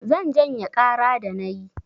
Zan janye ƙara da na yi.